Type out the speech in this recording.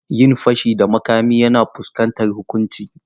Yin fashi da makami yana fuskantar huƙunci.